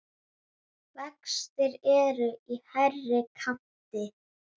Vextir eru í hærri kanti.